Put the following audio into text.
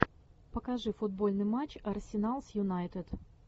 покажи футбольный матч арсенал с юнайтед